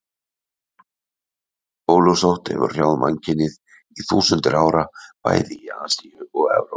Bólusótt hefur hrjáð mannkynið í þúsundir ára, bæði í Asíu og Evrópu.